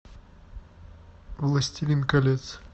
властелин колец